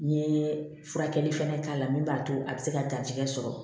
N ye furakɛli fɛnɛ k'a la min b'a to a bɛ se ka datigɛ sɔrɔ